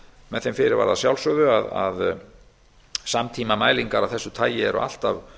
með þeim fyrirvara að sjálfsögðu að samtímamælingar af þessu tagi eru alltaf